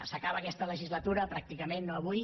s’acaba aquesta legislatura pràcticament no avui